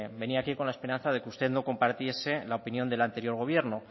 venía aquí con la esperanza de que usted no compartiese la opinión del anterior gobierno